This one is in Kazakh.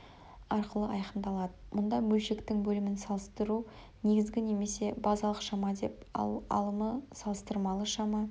арқылы айқындалады мұнда бөлшектің бөлімін салыстыру негізгі немесе базалық шама деп ал алымын салыстырмалы шама